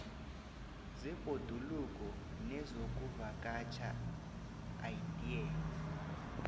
zebhoduluko nezokuvakatjha idea